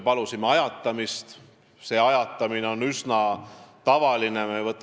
Niisugune ajatamine on üsna tavaline.